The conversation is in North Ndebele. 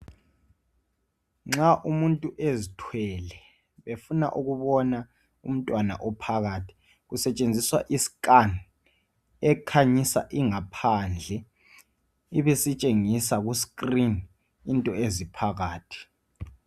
Nxa umuntu ezithwele efuna ukubona umntwana ophakathi kusetshenziswa iscan ekhanyisa ingaphandle ibisitshengisa kuscreen into eziphakathi.